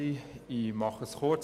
Ich mache es kurz.